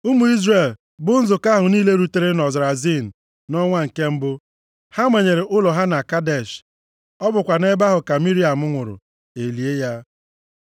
Ụmụ Izrel, bụ nzukọ ahụ niile rutere nʼọzara Zin nʼọnwa nke mbụ. Ha manyere ụlọ ha na Kadesh. Ọ bụkwa nʼebe ahụ ka Miriam nwụrụ. E lie ya.